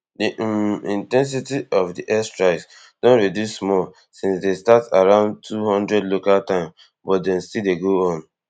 di um in ten sity of di air strikes don reduce small since dem start around two hundred local time but dem still dey go on